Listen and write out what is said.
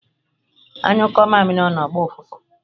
Anyukoo amiri onu, ogboo ufufu